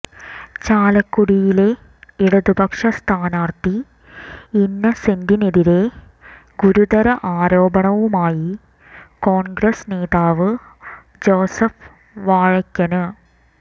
ചാലക്കുടിയിലെ ഇടതുപക്ഷ സ്ഥാനാര്ഥി ഇന്നസെന്റിനെതിരേ ഗുരുതര ആരോപണവുമായി കോണ്ഗ്രസ് നേതാവ് ജോസഫ് വാഴയ്ക്കന്